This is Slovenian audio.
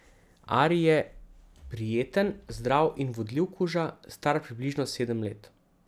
Ari je prijeten, zdrav in vodljiv kuža, star približno sedem let.